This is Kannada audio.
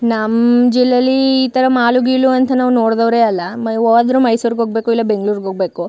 ನಮ್ಮ್ ಜಿಲ್ಲೆಲಿ ಈ ತರ ಮಾಲು ಗೀಲು ಅಂತ ನಾವು ನೋಡಿದವರೇ ಅಲ್ಲ ಹೋದ್ರು ಮೈಸೂರಿಗೆ ಹೋಗ್ಬೇಕು ಇಲ್ಲ ಬೆಂಗಳೂರಿಗೆ ಹೋಗ್ಬೇಕು .